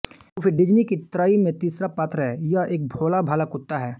Goofy Disney की त्रयी मे तीसरा पात्र है यह एक भोला भाला कुत्ता है